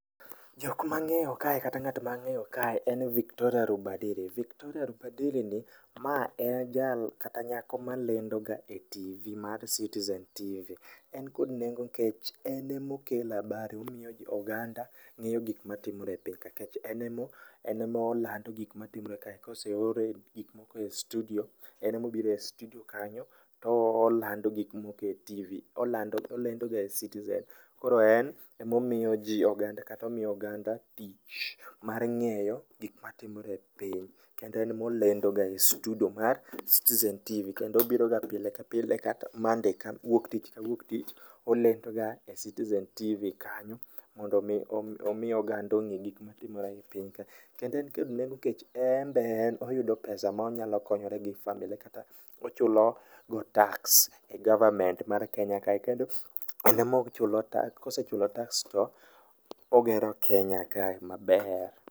Jok ma ang'eyo kae kata ng'at ma ang'eyo kae en Victoria Rubadiri, Victoria Rubadiri ni ma en jal kata nyako malendoga e TV mar Citizen TV. En kod nengo nikech en ema okelo habari omiyo oganda ng'eyo gik matimore e piny ka en ema olando gik matimore kae ka oseor gik moko e studio to en ema obiro e studio kanyo to olando gik moko e TV olendoga e Citizen koro en ema omiyo oganda tich mar ng'eyo gik matimore e piny kendo en ema olendoga e studio mar Citizen TV kendo obiroga pile ka pile ka Monday wuok tich ka wuok tich, olendoga e citizen TV kanyo mondo mi omi oganda ong'e gik matimore e piny ka. Kendo be en kod nengo nikech en be oyudo pesa monyalo konyorego gi familia ne, ochulo go tax e government mar Kenya kae. Kendo en ema ochulo tax ka osechulo tax to ogero Kenya kae maber.